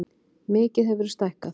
Mikið hefurðu stækkað.